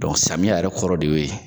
samiya yɛrɛ kɔrɔ de y'o ye.